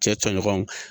Cɛ tɔɲɔgɔnw